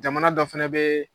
Jamana dɔ fɛnɛ bɛ